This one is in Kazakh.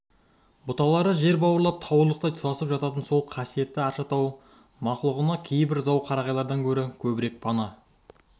бұталары жер бауырлап туырлықтай тұтасып жататын сол қасиетті арша тау мақлұғына кейбір зау қарағайлардан гөрі көбірек пана